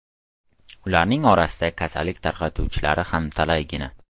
Ularning orasida kasallik tarqatuvchilari ham talaygina.